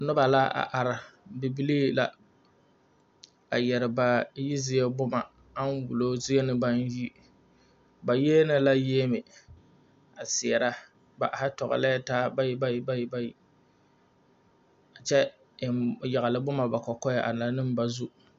Noba la a are bibilii la a yɛrɛ ba yi zie boma ŋa wulo zie naŋ yi ba yiele la yiemɛ a seɛrɛ ba are tɔgelɛɛ taa bayi bayi kyɛ yagele boma ba kɔkɔɛ a laŋ ne ba zu